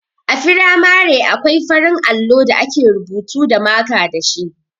A firamare akwai farin allo da ake rubutu da maka dashi.